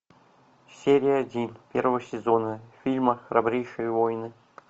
серия один первого сезона фильма храбрейшие воины